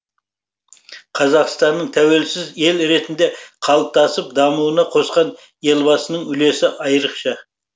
қазақстанның тәуелсіз ел ретінде қалыптасып дамуына қосқан елбасының үлесі айрықша